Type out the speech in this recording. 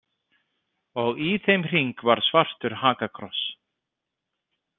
Og í þeim hring var svartur hakakross.